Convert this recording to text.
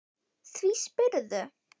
Því spyrðu?